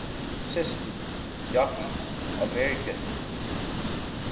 cisko yakkies american